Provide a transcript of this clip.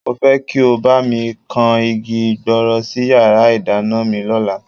Mo fẹ́ kí ó bá mi kan igi gbọọrọ sí yàrá ìdáná mi lọ́la